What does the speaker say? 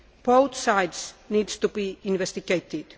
Both sides need to be investigated.